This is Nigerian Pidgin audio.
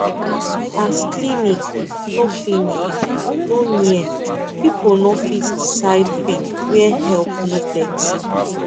as clinic no clinic no near people no fit decide quick where help no plenty